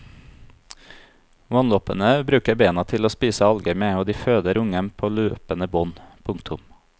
Vannloppene bruker bena til å spise alger med og de føder unger på løpende bånd. punktum